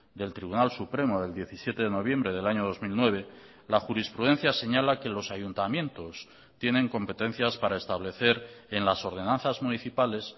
del tribunal supremo del diecisiete de noviembre del año dos mil nueve la jurisprudencia señala que los ayuntamientos tienen competencias para establecer en las ordenanzas municipales